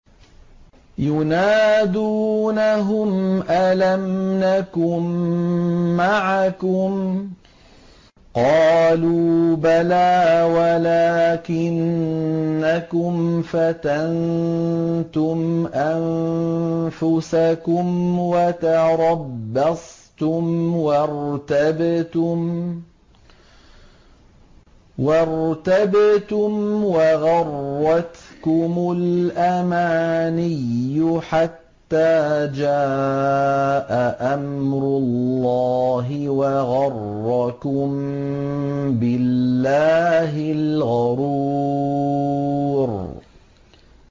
يُنَادُونَهُمْ أَلَمْ نَكُن مَّعَكُمْ ۖ قَالُوا بَلَىٰ وَلَٰكِنَّكُمْ فَتَنتُمْ أَنفُسَكُمْ وَتَرَبَّصْتُمْ وَارْتَبْتُمْ وَغَرَّتْكُمُ الْأَمَانِيُّ حَتَّىٰ جَاءَ أَمْرُ اللَّهِ وَغَرَّكُم بِاللَّهِ الْغَرُورُ